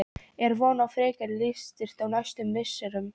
Er von á frekari liðsstyrk á næstu misserum?